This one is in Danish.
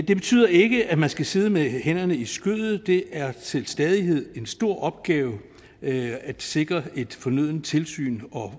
det betyder ikke at man skal sidde med hænderne i skødet det er til stadighed en stor opgave at sikre et fornødent tilsyn og